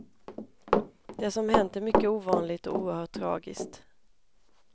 Det som hänt är mycket ovanligt och oerhört tragiskt.